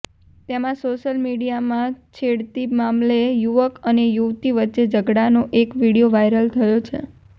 તેમાં સોશિયલ મીડિયામાં છેડતી મામલે યુવક અને યુવતી વચ્ચે ઝઘડાનો એક વીડિયો વાઇરલ થયો છે